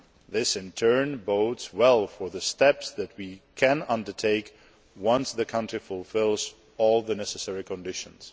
This in turn bodes well for the steps that we can undertake once the country fulfils all the necessary conditions.